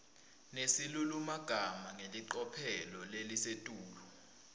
nesilulumagama ngelicophelo lelisetulu